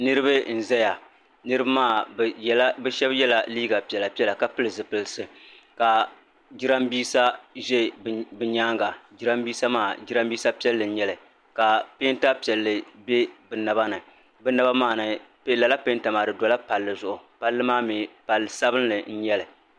Niriba n zɛya niriba maa bɛ shɛb yɛla liiga piɛla piɛla ka pili zupilsi ka jirambiisa ʒɛ bɛ nyaanga jirambiisa maa jirambiisa piɛlli n nyɛli peenta piɛli bɛ naba ni bɛ naba maa ni lala peenta maa di dɔla palli zuɣu palli maa mi palli sabinli n nyɛli